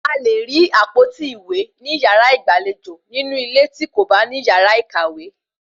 A lè rí àpótí ìwé ní yàrá ìgbàlejò nínú ilé tí kò bá ní yàrá ìkàwé